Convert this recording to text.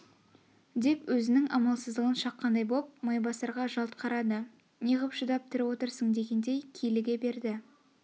деп өзнің амалсыздығын шаққандай боп майбасарға жалт қарады не ғып шыдап тірі отырсың дегендей киліге берді